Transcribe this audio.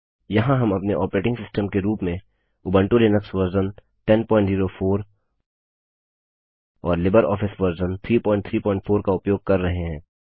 यहाँ हम अपने ऑपरेटिंग सिस्टम के रूप में उबंटु लिनक्स वर्जन 1004 और लिबरऑफिस वर्जन 334 का उपयोग कर रहे हैं